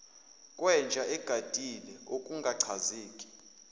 kwenja egadile okungachazeki